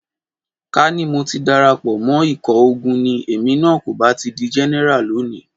Ká ní mo ti darapọ̀ mọ́ ikọ̀ ogun ni, èmi náà kò bá ti di Jẹ́nẹ́rà lónìí.